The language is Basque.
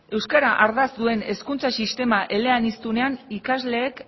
euskara ardatz duen hezkuntza sistema eleanizdunean ikasleek